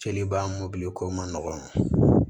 Seliba mɔbili ko man nɔgɔ